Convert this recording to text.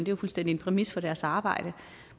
jo fuldstændig en præmis for deres arbejde